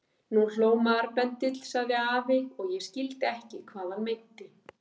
Nú hló marbendill sagði afi og ég skildi ekki hvað hann meinti.